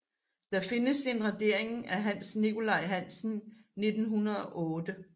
Der findes en radering af Hans Nikolaj Hansen 1908